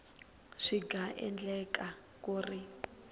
swi nga endleka ku ri